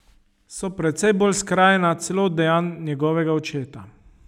So precej bolj skrajna celo od dejanj njegovega očeta.